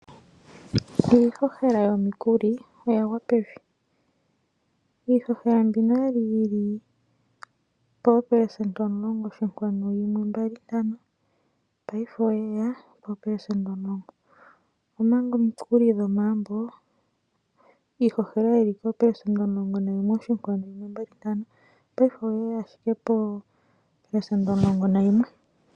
Iihohela yomikuli oya gwa pevi iihohela mbino okwali yili popelesenda omulongo oshinkwanu yimwe mbali ntano paife oyeya poopesenda omul